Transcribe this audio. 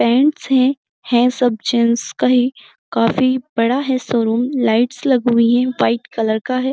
Gents है। है सब जेंट्स का ही काफी बड़ा शोरूम है। लाइट्स लगी हुई हैं। व्हाइट कलर का है।